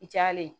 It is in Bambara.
I diyalen ye